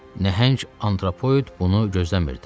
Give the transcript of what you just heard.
Nəhəng antropoid bunu gözləmirdi.